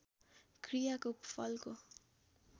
क्रियाको फलको